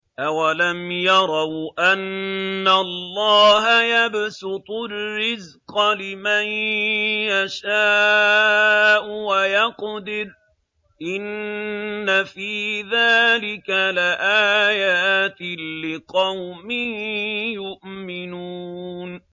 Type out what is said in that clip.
أَوَلَمْ يَرَوْا أَنَّ اللَّهَ يَبْسُطُ الرِّزْقَ لِمَن يَشَاءُ وَيَقْدِرُ ۚ إِنَّ فِي ذَٰلِكَ لَآيَاتٍ لِّقَوْمٍ يُؤْمِنُونَ